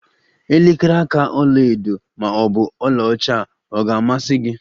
Elekere aka ọla edo maọbụ ọla ọcha ọ ga-amasi gi?